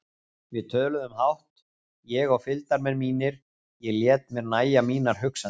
Við töluðum fátt, ég og fylgdarmenn mínir, ég lét mér nægja mínar hugsanir.